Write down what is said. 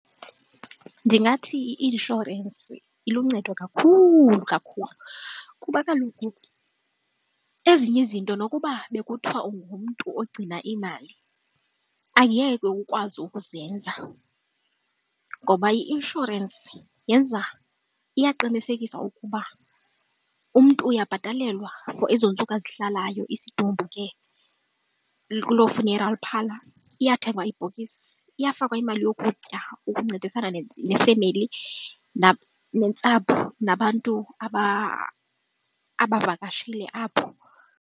Ndingathi i-inshorensi iluncedo kakhulu kakhulu kuba kaloku ezinye izinto nokuba bekuthiwa ungumntu ogcina iimali angeke ukwazi ukuzenza ngoba i-inshorensi yenza, iyaqinisekisa ukuba umntu uyabhatalelwa for ezoo ntsuku azihlalayo isidumbu ke kuloo funeral parlour, iyathengwa ibhokisi, iyafakwa imali yokutya ukuncedisana nefemeli nentsapho nabantu abavakashile apho.